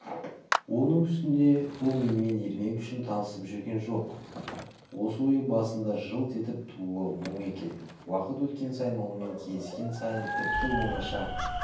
оның үстіне бұл менімен ермек үшін танысып жүрген жоқ осы ойы басында жылт етіп тууы мұң екен уақыт өткен сайын онымен кездескен сайын тіпті оңаша